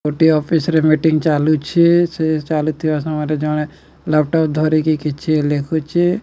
ଗୋଟିଏ ଅଫିସ ରେ ମିଟିଙ୍ଗ ଚାଲୁଛି। ସେ ଚାଲୁଥିବା ସମୟରେ ଜଣେ ଲାପଟପ ଧରିକି କିଛି ଲେଖୁଚି।